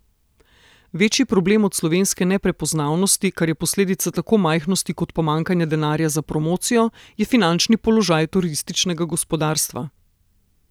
Večji problem od slovenske neprepoznavnosti, kar je posledica tako majhnosti kot pomanjkanja denarja za promocijo, je finančni položaj turističnega gospodarstva.